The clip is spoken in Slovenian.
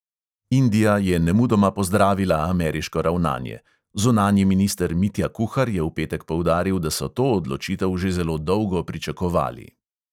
Indija je nemudoma pozdravila ameriško ravnanje; zunanji minister mitja kuhar je v petek poudaril, da so to odločitev že zelo dolgo pričakovali.